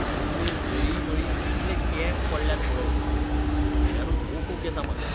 जमनीर जळींमळीं कितले केंस पडल्यात पळय. पळयल्यारूच ओंकूंक येता म्हाका.